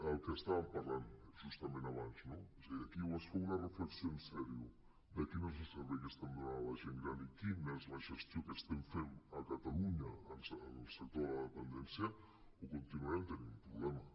el que estàvem parlant justament abans no és a dir aquí o es fa una reflexió en sèrio de quin és el servei que estem donant a la gent gran i quina és la gestió que estem fent a catalunya en el sector de la dependència o continuarem tenint un problema